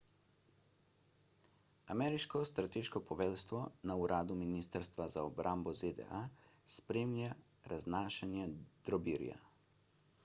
ameriško strateško poveljstvo na uradu ministrstva za obrambo zda spremlja raznašanje drobirja